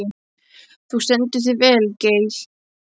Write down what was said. Þú stendur þig vel, Gael!